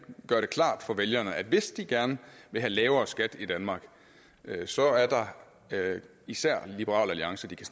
gøre klart for vælgerne at hvis de gerne vil have lavere skat i danmark så er der især liberal alliance de kan